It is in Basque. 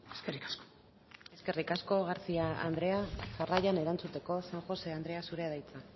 eskerrik asko eskerrik asko garcía andrea jarraian erantzuteko san josé andrea zurea da hitza